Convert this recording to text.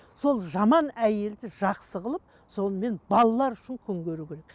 сол жаман әйелді жақсы қылып сонымен балалар үшін күн көруі керек